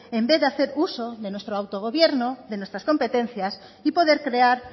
en vez de hacer uso de nuestro autogobierno de nuestras competencias y poder crear